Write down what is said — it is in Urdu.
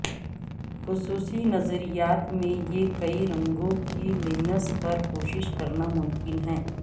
خصوصی نظریات میں یہ کئی رنگوں کے لینس پر کوشش کرنا ممکن ہے